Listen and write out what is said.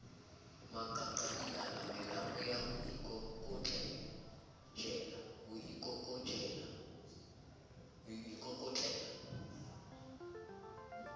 maqaqailana melamu ya ho ikokotlela